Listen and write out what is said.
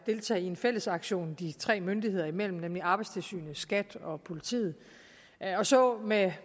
deltage i en fælles aktion de tre myndigheder imellem nemlig arbejdstilsynet skat og politiet og så med